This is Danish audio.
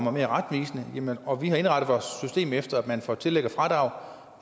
er mere retvisende og vi har indrettet vores system efter at man får tillæg og fradrag